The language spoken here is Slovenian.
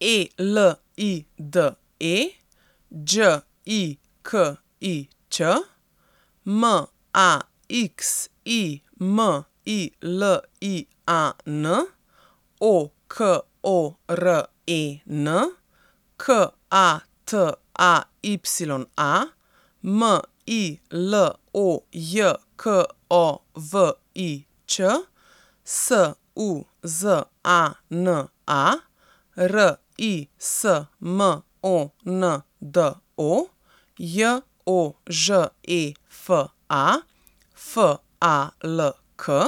E L I D E, Đ I K I Ć; M A X I M I L I A N, O K O R E N; K A T A Y A, M I L O J K O V I Ć; S U Z A N A, R I S M O N D O; J O Ž E F A, F A L K;